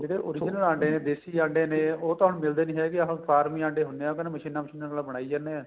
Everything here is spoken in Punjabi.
ਜਿਹੜੇ original ਅੰਡੇ ਨੇ ਦੇਸੀ ਅੰਡੇ ਨੇ ਉਹ ਤੁਹਾਨੂੰ ਮਿਲਦੇ ਨੀਂ ਹੈਗੇ ਫਾਰਮੀ ਅੰਡੇ ਹੁੰਨੇ ਏ ਮਸ਼ੀਨਾ ਮਾਸ਼ੁਨਾ ਨਾਲ ਬਣਾਈ ਜਾਨੇ ਏ